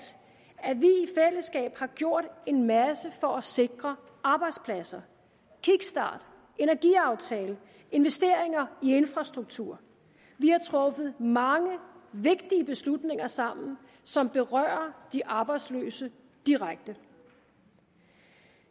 har gjort en masse for at sikre arbejdspladser kickstart energiaftale investeringer i infrastruktur vi har truffet mange vigtige beslutninger sammen som berører de arbejdsløse direkte